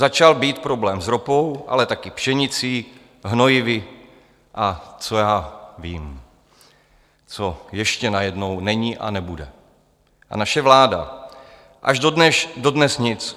Začal být problém s ropou, ale taky pšenicí, hnojivy a co já vím, co ještě najednou není a nebude, a naše vláda až dodnes nic.